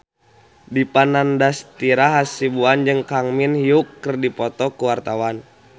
Dipa Nandastyra Hasibuan jeung Kang Min Hyuk keur dipoto ku wartawan